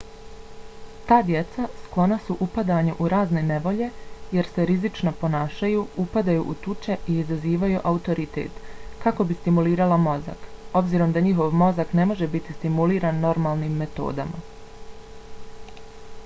ta djeca sklona su upadanju u razne nevolje jer se rizično ponašaju upadaju u tuče i izazivaju autoritet kako bi stimulirala mozak obzirom da njihov mozak ne može biti stimuliran normalnim metodama